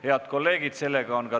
Head kolleegid!